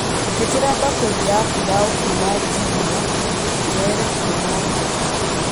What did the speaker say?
njĩtĩria bakũri ya pilau kuuma jumia njoere kuuma nja